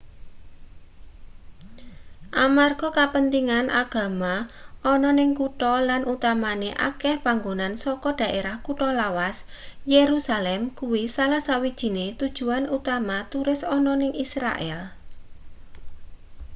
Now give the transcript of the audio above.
amarga kapentingan agama ana ning kutha lan utamane akeh panggonan saka daerah kutha lawas yerusalem kuwi salah sawijine tujuan utama turis ana ning israel